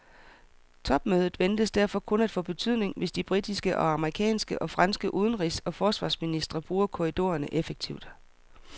Topmødet ventes derfor kun at få betydning, hvis de britiske, amerikanske og franske udenrigs og forsvarsministre bruger korridorerne effektivt.